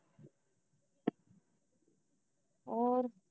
ਹੋਰ